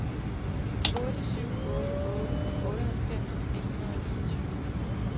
otte syv otte otte otteoghalvfems et hundrede og niogtyve